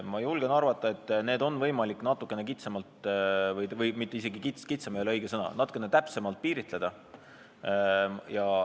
Ma julgen arvata, et neid on võimalik natukene kitsamalt või – "kitsam" ei ole isegi õige sõna – täpsemalt piiritleda.